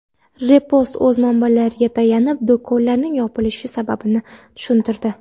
Repost o‘z manbalariga tayanib, do‘konlarning yopilishi sababini tushuntirdi .